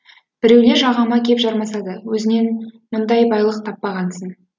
біреулер жағама кеп жармасады өзінен мұндай байлық таппағансын